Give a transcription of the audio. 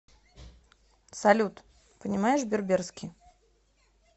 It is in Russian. салют понимаешь берберский